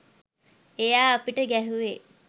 එයා අපිට ගැහුවේ